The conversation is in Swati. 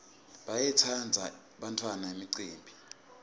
bayayitsandza bantfwana imicimbi